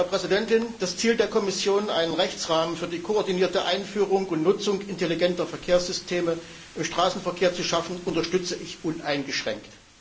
Frau Präsidentin! Das Ziel der Kommission, einen Rechtsrahmen für die koordinierte Einführung und Nutzung intelligenter Verkehrssysteme im Straßenverkehr zu schaffen, unterstütze ich uneingeschränkt.